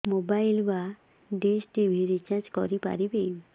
mobile ବା dish TV recharge କରି ପାରିବି